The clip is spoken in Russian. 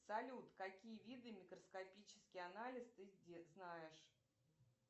салют какие виды микроскопический анализ ты знаешь